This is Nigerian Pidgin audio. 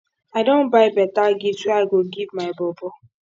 i don buy beta gift wey i go give my bobo